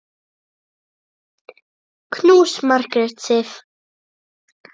Knús, Margrét Sif.